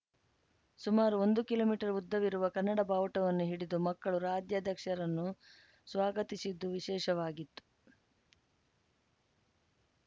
ಸುಮಾರು ಒಂದು kilometre ಉದ್ದವಿರುವ ಕನ್ನಡ ಭಾವುಟವನ್ನು ಹಿಡಿದು ಮಕ್ಕಳು ರಾಜ್ಯಾಧ್ಯಕ್ಷರನ್ನು ಸ್ವಾಗತಿಸಿದ್ದು ವಿಶೇಷವಾಗಿತ್ತು